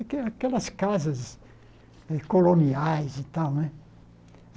Aque aquelas casas coloniais e tal, né?